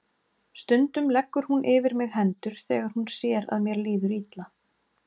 Stundum leggur hún yfir mig hendur þegar hún sér að mér líður illa.